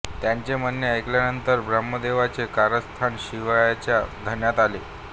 त्यांचे म्हणणे ऐकल्यानंतर ब्रह्मदेवाचे कारस्थान शिवाच्या ध्यानात आले